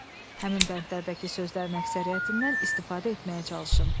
Həmin bəndlərdəki sözlərin əksəriyyətindən istifadə etməyə çalışın.